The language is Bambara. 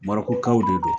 Marɔkukaw de don